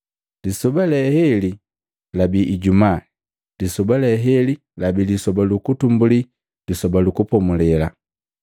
Lisoba lee heli labii lijumaa, lisoba le heli labi lisoba lukutumbuli Lisoba lu Kupomulela.